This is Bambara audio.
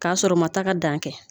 K'a sɔrɔ u ma taa ka dan kɛ